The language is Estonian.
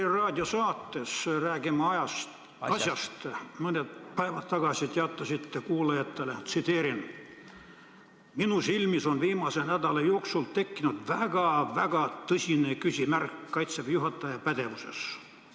Tre Raadio saates "Räägime asjast" mõned päevad tagasi te teatasite kuulajatele: "Minu silmis on viimase nädala jooksul tekkinud väga-väga tõsine küsimärk Kaitseväe juhataja pädevuses.